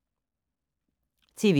TV 2